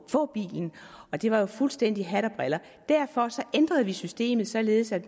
bilen og det var jo fuldstændig hat og briller derfor ændrede vi systemet således at